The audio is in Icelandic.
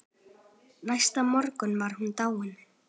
Næsta morgun var hún dáin.